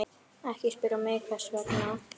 Ekki spyrja mig hvers vegna.